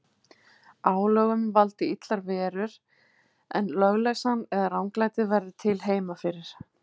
Álögum valdi illar verur, en lögleysan eða ranglætið verði til heima fyrir.